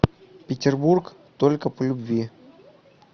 петербург только по любви